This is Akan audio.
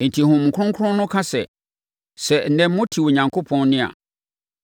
Enti Honhom Kronkron no ka sɛ, “Sɛ ɛnnɛ mote Onyankopɔn nne a,